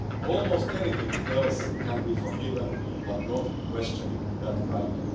Almost anything else can be forgiven, but not questioning that value.